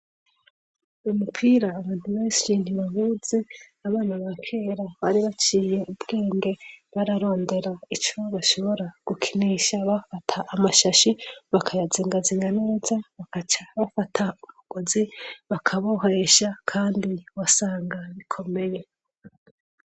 Umupira abantu benshi ntibawuzi. Abana bakera bari baciye ubwenge bararondera icyo bashobora gukinisha bafata amashashi bakayazingazinga neza, bakaca bafata umugozi bakabohesha kandi wasanga bikomeye.